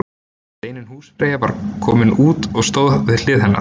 Steinunn húsfreyja sem var komin út og stóð við hlið hennar.